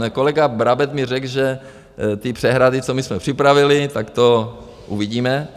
Kolega Brabec mi řekl, že ty přehrady, co my jsme připravili, tak to uvidíme.